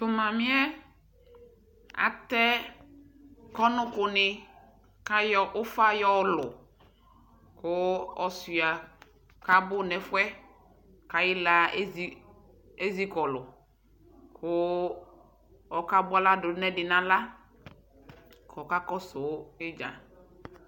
Tʋ mamɩ yɛ atɛ kɔnʋkʋnɩ kʋ ayɔ ʋfa yɔlʋ kʋ ɔsʋɩa kʋ abʋ nʋ ɛfʋ yɛ kʋ ayɩɣla ezi ezi kɔlʋ kʋ ɔkabʋa aɣla dʋ nʋ ɛdɩ nʋ aɣla kʋ ɔkakɔsʋ ɩdza